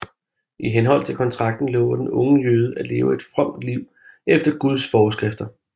I henhold til kontraken lover den unge jøde at leve et fromt liv efter Guds forskrifter